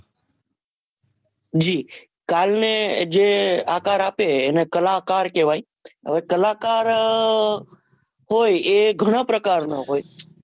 જી તાલને જે આકાર આપે એ એને કલાકાર કહવાય અને કલાકાર હોય એ ગણા પ્રકાર નો હોય